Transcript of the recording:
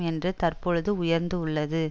என்று தற்பொழுது உயர்ந்து உள்ளது